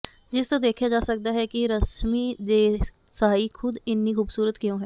ਜਿਸ ਤੋਂ ਦੇਖਿਆ ਜਾ ਸਕਦਾ ਹੈ ਕਿ ਰਸ਼ਮੀ ਦੇਸਾਈ ਖ਼ੁਦ ਇੰਨੀ ਖੂਬਸੂਰਤ ਕਿਉਂ ਹੈ